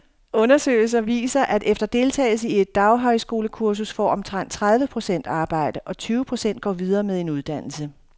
Undersøgelser viser, at efter deltagelse i et daghøjskolekursus får omkring tredive procent arbejde, og tyve procent går videre med en uddannelse.